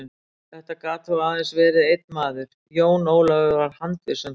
Þetta gat þó aðeins verið einn maður, Jón Ólafur var handviss um það.